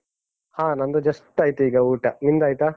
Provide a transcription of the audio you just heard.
ಹ ನಂದು just ಆಯ್ತು ಈಗ ಊಟ. ನಿಮ್ದಾಯ್ತಾ?